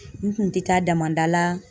N kun tɛ taa damada la